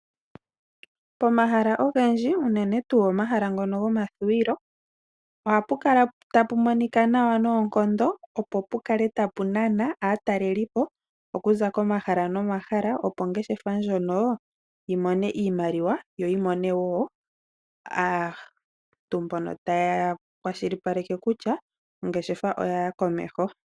Pomahala ogendji uunene tuu omahala ngono gomathuwilo ohapu kala tapu monika nawa noonkondo, opo pu kale tapu nana aataleli po okuza komahala nomahala opo ongeshefa ndjono yi mone iimaliwa yo yi mone wo aantu mbono taya kwashilipaleke kutya ongeshefa otayi yi komeho.